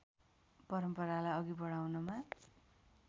परम्परालाई अघि बढाउनमा